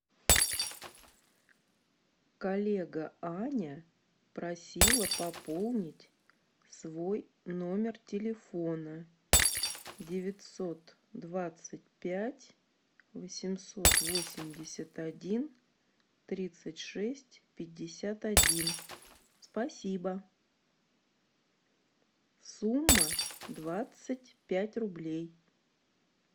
коллега аня просила пополнить свой номер телефона девятьсот двадцать пять восемьсот восемьдесят один тридцать шесть пятьдесят один спасибо сумма двадцать пять рублей